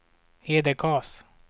Hedekas